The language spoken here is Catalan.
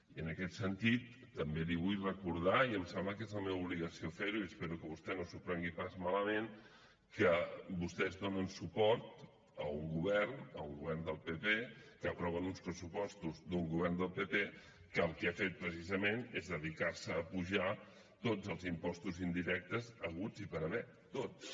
i en aquest sentit també li vull recordar i em sembla que és la meva obligació fer ho i espero que vostè no s’ho prengui pas malament que vostès donen suport a un govern a un govern del pp que aproven uns pressupostos d’un govern del pp que el que han fet precisament és dedicar se a apujar tots els impostos indirectes haguts i per haver tots